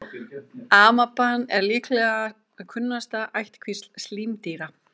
Amaban er líklega kunnasta ættkvísl slímdýra.